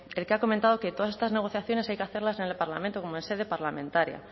el que ha comentado que todas estas negociaciones hay que hacerlas en el parlamento como en sede parlamentaria